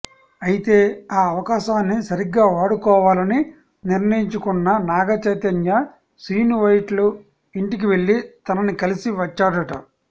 అయితే ఆ అవకాశాన్ని సరిగ్గా వాడుకోవాలని నిర్ణయించుకున్న నాగచైతన్య శ్రీనువైట్ల ఇంటికి వెళ్లి తనని కలిసి వచ్చాడట